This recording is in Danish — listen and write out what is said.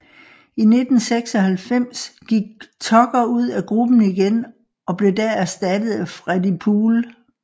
I 1996 gik Tucker ud af gruppen igen og blev da erstattet af Freddi Poole